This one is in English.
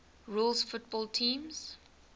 rules football teams